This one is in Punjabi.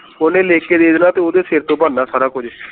ਓਹਨੇ ਲਿਖ ਕੇ ਦੇ ਦੇਣਾ ਤੇ ਓਹਦੇ ਸਰ ਤੋਂ ਬਣਦਾ ਸਾਰਾ ਕੁਛ